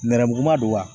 Nɛrɛmuguma don wa